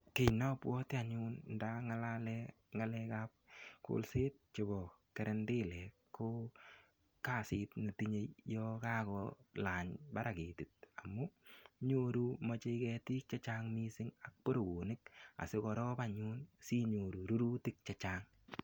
Kiy nabwoti anyun ndangalalen ngalekab kolset chebo karandilet ko kasit netinyei yon kakolany barak ketit amu nyoru moche ketik chechang mising ak boroonik asigorop anyun sinyoru rurutik che chang.